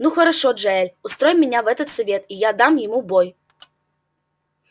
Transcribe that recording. ну хорошо джаэль устрой меня в этот совет и я дам ему бой